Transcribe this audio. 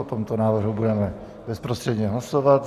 O tomto návrhu budeme bezprostředně hlasovat.